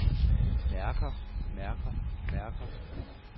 mærker mærker mærker